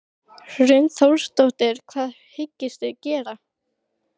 Það ætti að banna bíla í sveitinni sagði Tóti fúll.